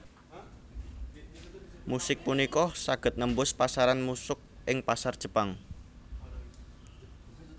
Musik punika saged nembus pasaran musuk ing pasar Jepang